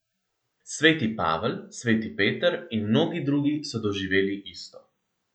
Sveti Pavel, sveti Peter in mnogi drugi so doživeli isto.